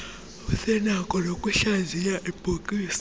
usenakho noyikuhlaziya ibhokisi